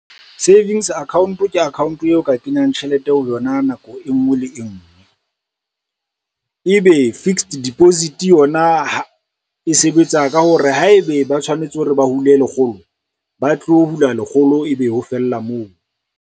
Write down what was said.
Savings account ke account eo ka kenyang tjhelete ho yona nako e ngwe le e ngwe. E be fixed deposit yona e sebetsa ka hore haebe ba tshwanetse hore ba hule lekgolo, ba tlo hula lekgolo ebe ho fella moo.